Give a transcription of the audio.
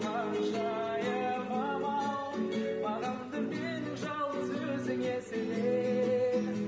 ханшайымым ау бағымды менің жалғыз өзің еселер